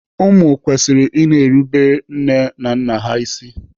Ụmụ kwesịrị i na-erubere nne na nna ha isi.